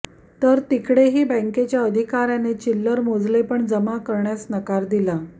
तर तिकडेही बॅंकेच्या अधिकाऱ्याने चिल्लर मोजले पण जमा करण्यास नकार दिला